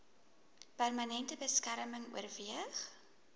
permanente beskerming oorweeg